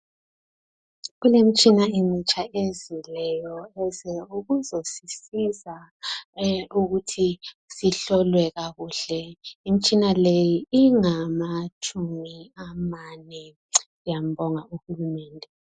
Kulemtshina emitsha ezileyo eze ukuzosisiza ukuthi sihlolwe kakuhle. Imtshina leyi ingama tshumi amane. Siyambonga uHulumende.